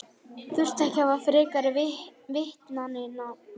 Þurfti ekki að hafa frekari vitnanna við?